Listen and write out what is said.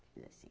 Fiz assim.